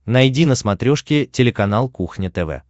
найди на смотрешке телеканал кухня тв